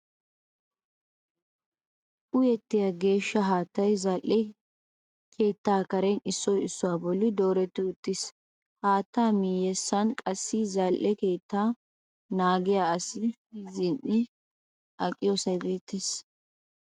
Uyettiya geeshsha haattay zal"e keettaa karen issoy issuwa bolli dooretti uttiis. Haattaa miyyessan qassi zal"e keettaa naagiya asi zin"i aqiyosay beettees.